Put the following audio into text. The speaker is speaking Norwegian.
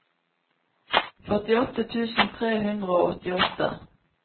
førtiåtte tusen tre hundre og åttiåtte